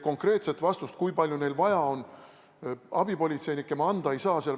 Konkreetset vastust, kui palju meil on vaja abipolitseinikke, ma anda ei saa.